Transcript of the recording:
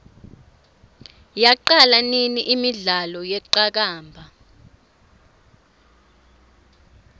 yaqala nini imidlalo yeqakamba